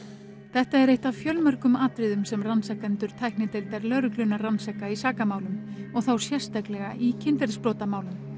þetta er eitt af fjölmörgum atriðum sem rannsakendur tæknideildar lögreglunnar rannsaka í sakamálum og þá sérstaklega í kynferðisbrotamálum